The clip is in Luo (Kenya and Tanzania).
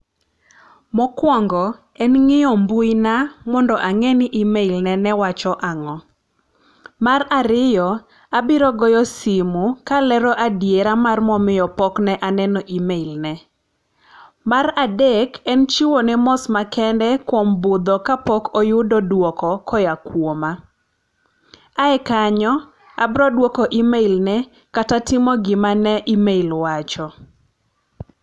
Mokuongo en ng'iyo mbui na mondo ang'e ni email na wacho ang'o. Mar ariyo, abiro goyo simu kalero adiera ma omiyo pok ne aneno email ne. Mar adek en timo mos makende kuom budho kaok oyudo duoko koa kuoma. Ae kanyo abiro duoko emai ne kata timo gima ne email wacho.